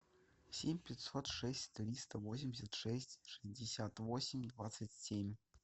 семь пятьсот шесть триста восемьдесят шесть шестьдесят восемь двадцать семь